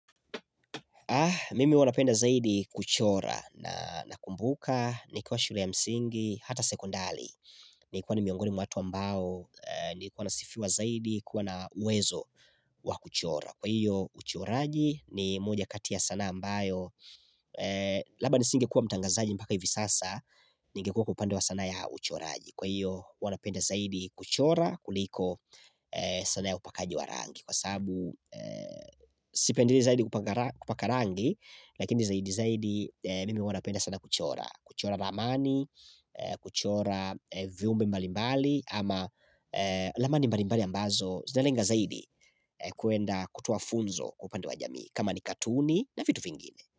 Mimi uwa napenda zaidi kuchora na nakumbuka nikiwa shule ya msingi hata sekondali hhh ni kuwa ni miongoni mwa watu ambao eeh ni kuwa nasifiwa zaidi kuwa na uwezo wa kuchora Kwa iyo uchoraji ni moja kati sanaa ambayo eeh Labda nisingekuwa mtangazaji mpaka hivi sasa ningekuwa kwa upande wa sanaa ya uchoraji, Kwa hiyo huwa napenda zaidi kuchora kuliko sanaa ya upakaji wa rangi kwa sabu eeh sik sipendirii zaidi kupak kupaka rangi lakini zaidi zaidi eeh mimi huwa napenda sana kuchora kuchora ramani, eeh kuchora viumbe mbalimbali ama eeh ramani mbalimbali ambazo zinalenga zaidi kuenda kutoa funzo kwa upande wa jamii kama ni katuni na vitu vingine.